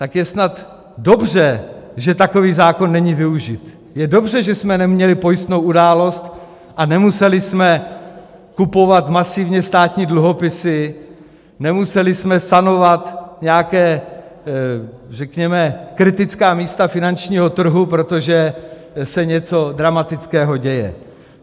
Tak je snad dobře, že takový zákon není využit, je dobře, že jsme neměli pojistnou událost a nemuseli jsme kupovat masivně státní dluhopisy, nemuseli jsme sanovat nějaká řekněme kritická místa finančního trhu, protože se něco dramatického děje.